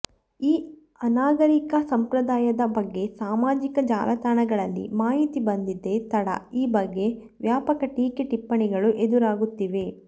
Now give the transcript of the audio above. ಈ ಅನಾಗರಿಕ ಸಂಪ್ರದಾಯದ ಬಗ್ಗೆ ಸಾಮಾಜಿಕ ಜಾಲತಾಣಗಳಲ್ಲಿ ಮಾಹಿತಿ ಬಂದಿದ್ದೇ ತಡ ಈ ಬಗ್ಗೆ ವ್ಯಾಪಕ ಟೀಕೆ ಟಿಪ್ಪಣಿಗಳು ಎದುರಾಗುತ್ತಿವೆ